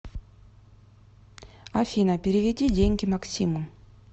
афина переведи деньги максиму